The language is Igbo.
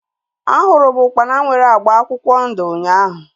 A hụrụ m ukpana nwere agba akwụkwọ ndụ ụnyaahụ